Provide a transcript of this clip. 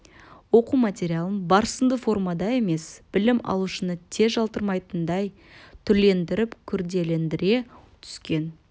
оқу материалын бірсарынды формада емес білім алушыны тез жалықтырмайтындай түрлендіріп күрделендіре түскен